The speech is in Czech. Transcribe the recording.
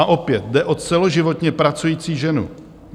A opět, jde o celoživotně pracující ženu.